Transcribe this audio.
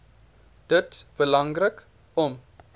dit belangrik om